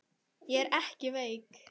Ég er ekki veik.